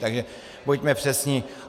Takže buďme přesní.